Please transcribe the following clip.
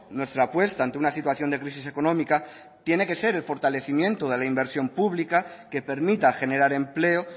nuestra apuesta ante una situación de crisis económica tiene que ser el fortalecimiento de la inversión pública que permita generar empleo